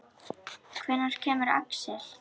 Hvenær kemur Axel?